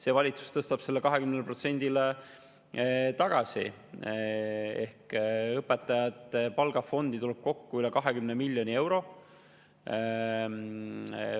See valitsus tõstab selle 20%‑le tagasi ehk õpetajate palgafondi tuleb kokku üle 20 miljoni euro.